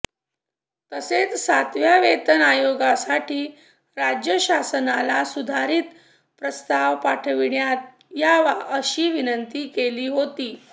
तसेच सातव्या वेतन आयोगासाठी राज्य शासनाला सुधारित प्रस्ताव पाठविण्यात यावा अशी विनंती केली होती